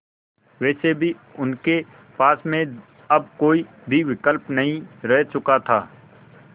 वैसे भी उनके पास में अब कोई भी विकल्प नहीं रह चुका था